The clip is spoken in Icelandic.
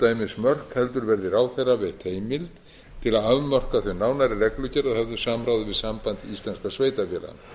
ekki umdæmismörk heldur verði ráðherra veitt heimild til að afmarka þau nánar í reglugerð að höfðu samráði við samband íslenskra sveitarfélaga